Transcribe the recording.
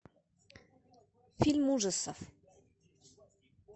фильм ужасов